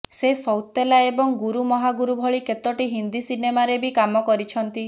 ସେ ସୌତେଲା ଏବଂ ଗୁରୁ ମହାଗୁରୁ ଭଳି କେତୋଟି ହିନ୍ଦୀ ସିନେମାରେ ବି କାମ କରିଛନ୍ତି